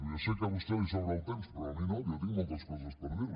ja sé que a vostè li sobra el temps però a mi no jo tinc moltes coses per dir li